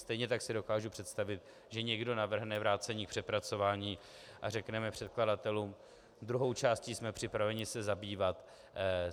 Stejně tak si dokážu představit, že někdo navrhne vrácení k přepracování a řekneme předkladatelům: druhou částí jsme připraveni se zabývat.